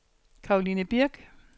Caroline Birch